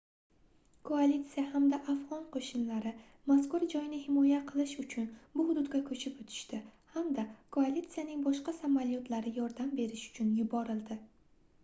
koalitsiya hamda afgʻon qoʻshinlari mazkur joyni himoya qilish uchun bu hududga koʻchib oʻtishdi hamda koalitsiyaning boshqa samolyotlari yordam berish uchun yuborildi